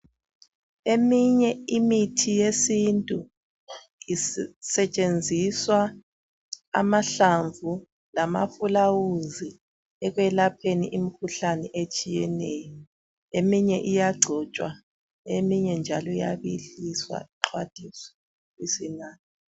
Eminye imithi yesintu isetshenxiswa amahlamvu, lamafulawuzi, ekwelapheni imikhuhlane etshiyeneyo. . Eminye iyagcotshwa. Eminye njalo iyabiliswa, ixhwathiswe. Ibisinathwa.